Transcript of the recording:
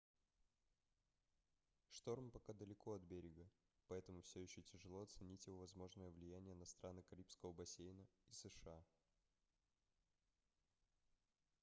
шторм пока далеко от берега поэтому все еще тяжело оценить его возможное влияние на страны карибского бассейна и сша